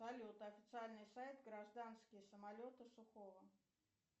салют официальный сайт гражданские самолеты сухого